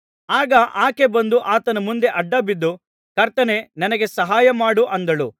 ಆಗ ಆಕೆ ಬಂದು ಆತನ ಮುಂದೆ ಅಡ್ಡ ಬಿದ್ದು ಕರ್ತನೇ ನನಗೆ ಸಹಾಯಮಾಡು ಅಂದಳು